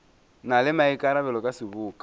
na le maikarabelo ka seboka